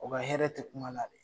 O ka hɛrɛ tɛ kuma la de.